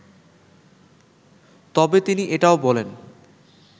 তবে তিনি এটাও বলেন